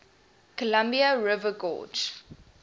columbia river gorge